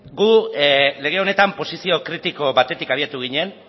guk lege honetan posizio kritiko batetik abiatu ginen